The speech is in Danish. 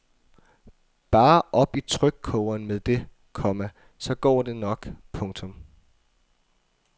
Bare op i trykkogeren med det, komma så går det nok. punktum